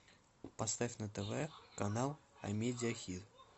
поставь на тв канал амедия хит